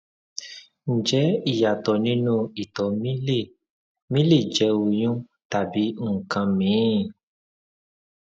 ǹjẹ ìyàtọ nínú ìtọ mi le mi le jẹ oyún tàbí nǹkan míìn